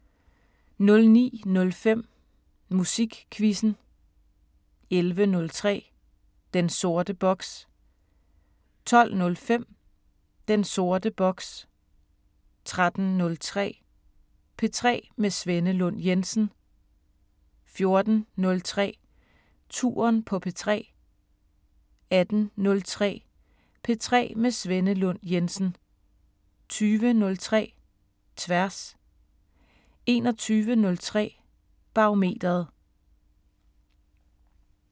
09:05: Musikquizzen 11:03: Den sorte boks 12:05: Den sorte boks 13:03: P3 med Svenne Lund Jensen 14:03: Touren på P3 18:03: P3 med Svenne Lund Jensen 20:03: Tværs 21:03: Barometeret